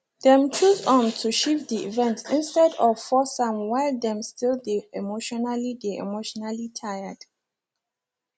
dem choose um to shift the event instead of force am while dem still dey emotionally dey emotionally tired